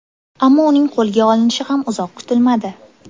Ammo uning qo‘lga olinishi ham uzoq kutilmadi.